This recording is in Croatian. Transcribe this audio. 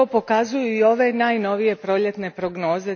To pokazuju i ove najnovije proljetne prognoze